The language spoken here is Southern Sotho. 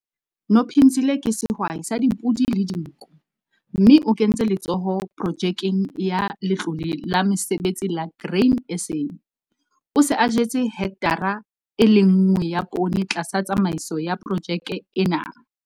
Nophinzile ke sehwai sa dipodi le dinku, mme o kentse letsoho Projekeng ya Letlole la Mesebetsi la Grain SA. O se a jetse hekthara e le nngwe ya poone tlasa tsamaiso ya projeke ena.